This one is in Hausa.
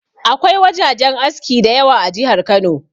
Akwai wajajen aski da yawa a jihar Kano.